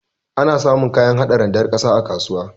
Ana samun kayan hada randar ƙasa a kasuwa.